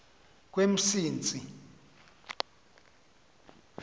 kwemsintsi